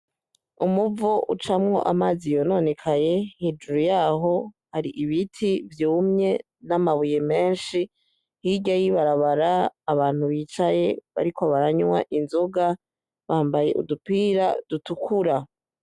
Umuvu ucamwo amazi yononekaye hejuru yaho hari ibiti vyumye n'amabuye menshi, hirya y'ibarabara abantu bicaye bariko baranywa inzoga, bambaye udupira dutukura.